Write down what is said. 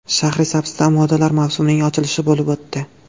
Shahrisabzda modalar mavsumining ochilishi bo‘lib o‘tdi.